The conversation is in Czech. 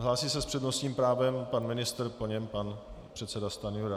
Hlásí se s přednostním právem pan ministr, po něm pan předseda Stanjura.